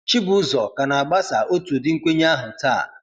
Chibuzor ka na-agbasa otu ụdị nkwenye ahụ taa.